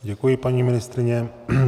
Děkuji, paní ministryně.